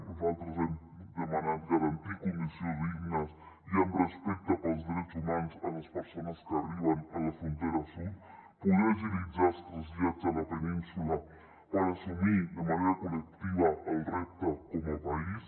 nosaltres hem demanat garantir condicions dignes i amb respecte pels drets humans a les persones que arriben a la frontera sud poder agilitzar els trasllats a la península per assumir de manera col·lectiva el repte com a país